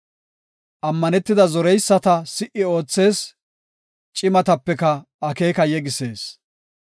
Ammanetida zoreyisata si77i oothees; cimatapeka akeeka yegisees.